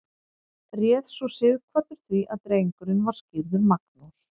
réð svo sighvatur því að drengurinn var skírður magnús